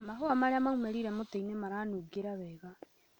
Mahũa marĩa maumĩrire mũtĩinĩ maranungĩra wega